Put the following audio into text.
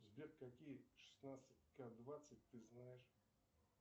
сбер какие шестнадцать ка двадцать ты знаешь